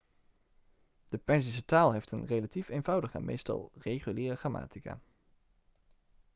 de perzische taal heeft een relatief eenvoudige en meestal reguliere grammatica